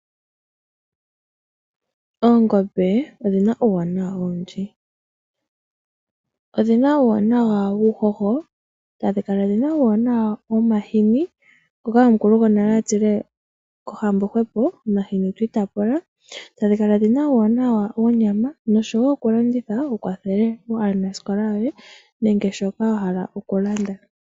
Oongombe odhina uuwanawa owundji odhina uuwanawa wuuhoho tadhi kala dhina uuwanawa wohahini ngoka omukulu gonale atile kohambo hwepo omahini twiitapula, tadhi kala dhina uuwanawa wonyama nosho woo okulanditha wukwathele aanasikola yoye nenge shoka wahala okulanda.